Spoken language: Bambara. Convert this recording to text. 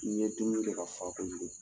N ye dumuni kɛ ka fa kojugu.